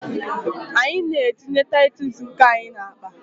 Anyị na-etinye titus nke anyị n'akpa.